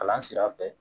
Kalan sira fɛ